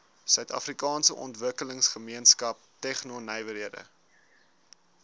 suidafrikaanse ontwikkelingsgemeenskap tegnonywerhede